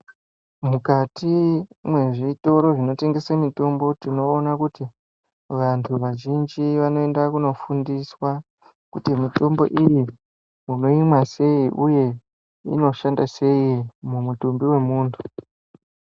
Mukati mwezvitoro zvinotengese mitombo tinoona kuti vantu vazhinji vanoenda kunofundiswa kuti mitombo iyi munoimwa sei uye inoshanda sei mumutumbi wemuntu.